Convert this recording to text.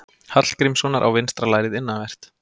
Hallgrímssonar á vinstra lærið innanvert.